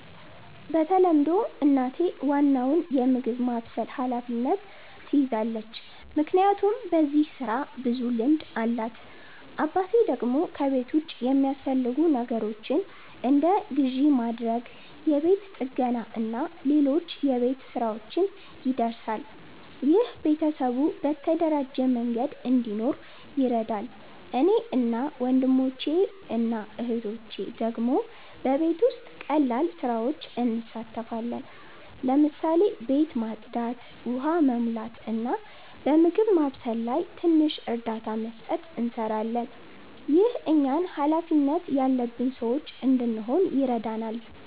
በተለምዶ እናቴ ዋናውን የምግብ ማብሰል ኃላፊነት ትይዛለች፣ ምክንያቱም በዚህ ስራ ብዙ ልምድ አላት። አባቴ ደግሞ ከቤት ውጭ የሚያስፈልጉ ነገሮችን እንደ ግዢ ማድረግ፣ የቤት ጥገና እና ሌሎች የቤት ሥራዎች ይደርሳል። ይህ ቤተሰቡ በተደራጀ መንገድ እንዲኖር ይረዳል። እኔ እና ወንድሞቼ/እህቶቼ ደግሞ በቤት ውስጥ ቀላል ስራዎች እንሳተፋለን። ለምሳሌ ቤት ማጽዳት፣ ውሃ መሙላት፣ እና በምግብ ማብሰል ላይ ትንሽ እርዳታ መስጠት እንሰራለን። ይህ እኛን ሃላፊነት ያለበት ሰዎች እንድንሆን ይረዳናል።